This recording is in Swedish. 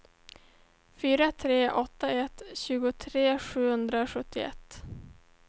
fyra tre åtta ett tjugotre sjuhundrasjuttioett